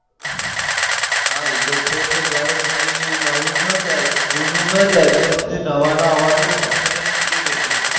હા એતો છે જ ને. જ્યાં સુધી નવું નાં જાય જુનું નાં જાય ત્યાં સુધી નવાનાં આવવાનો option જ નથી રેતી.